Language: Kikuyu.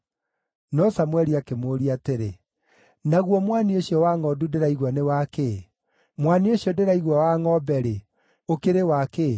No Samũeli akĩmũũria atĩrĩ, “Naguo mwanio ũcio wa ngʼondu ndĩraigua nĩ wa kĩĩ? Mwanio ũcio ndĩraigua wa ngʼombe-rĩ, ũkĩrĩ wa kĩĩ?”